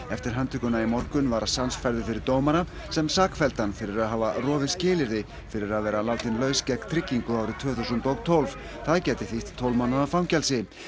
eftir handtökuna í morgun var færður fyrir dómara sem sakfelldi hann fyrir að hafa rofið skilyrði fyrir að vera látinn laus gegn tryggingu árið tvö þúsund og tólf það gæti þýtt tólf mánaða fangelsi